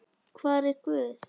hvar er Guð?